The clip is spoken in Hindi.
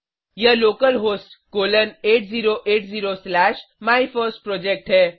यह लोकलहोस्ट कोलन 8080 स्लैश माइफर्स्टप्रोजेक्ट है